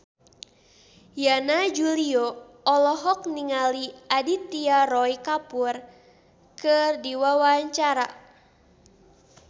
Yana Julio olohok ningali Aditya Roy Kapoor keur diwawancara